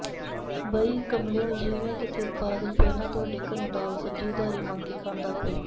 ਬਈ ਕਮਲਿਉ ਜਿਵੇਂ ਕਿਤੇ ਬਾਦਲ ਪਹਿਲਾਂ ਤੁਹਾਡੇ ਘਰੋਂ ਦਾਲ ਸਬਜ਼ੀ ਉਧਾਰੀ ਮੰਗ ਕੇ ਖਾਂਦਾ ਹੋਵੇ